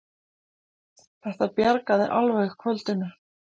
Þetta bjargaði alveg kvöldinu!